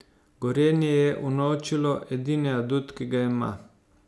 Gorenje je unovčilo edini adut, ki ga ima.